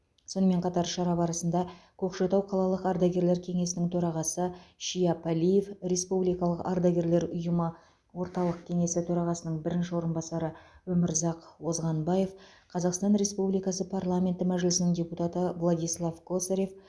сонымен қатар шара барысында көкшетау қалалық ардагерлер кеңесінің төрағасы шияп әлиев республикалық ардагерлер ұйымы орталық кеңесі төрағасының бірінші орынбасары өмірзақ озғанбаев қазақстан республикасы парламенті мәжілісінің депутаты владислав косарев